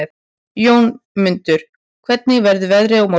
Jómundur, hvernig verður veðrið á morgun?